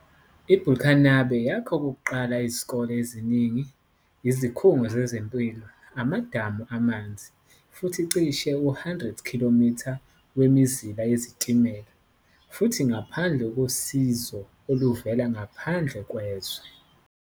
IBurkinabe yakha okokuqala izikole eziningi, izikhungo zezempilo, amadamu amanzi, futhi cishe u-100 km wemizila yezitimela, futhi ngaphandle kosizo oluvela ngaphandle kwezwe.